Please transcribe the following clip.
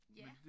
Ja